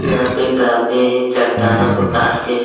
यहाँ पे काफी चट्टानो को काट के--